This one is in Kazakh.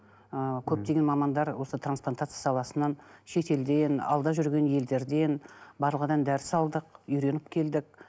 ыыы көптеген мамандар осы трансплантация саласынан шетелден алда жүрген елдерден барлығынан дәріс алдық үйреніп келдік